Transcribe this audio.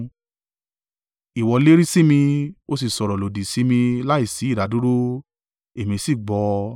Ìwọ lérí sí mi, ó sì sọ̀rọ̀ lòdì sí mí láìsí ìdádúró, èmi sì gbọ́ ọ.